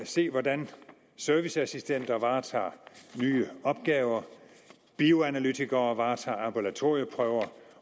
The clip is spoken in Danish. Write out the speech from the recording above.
se hvordan serviceassistenter varetager nye opgaver bioanalytikere varetager ambulatorieprøver